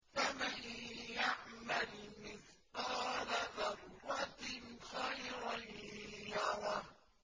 فَمَن يَعْمَلْ مِثْقَالَ ذَرَّةٍ خَيْرًا يَرَهُ